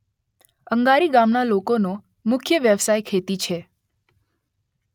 અંગારી ગામના લોકોનો મુખ્ય વ્યવસાય ખેતી છે